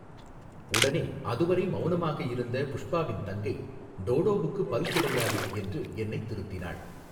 உடனே, அதுவரை மௌனமாக இருந்த புஷ்பாவின் தங்கை, டோடோவுக்கு பல் கிடையாது, என்று என்னை திருத்தினாள்.